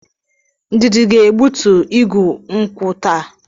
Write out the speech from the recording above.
Ndidi ga-egbutu igu nkwụ taa.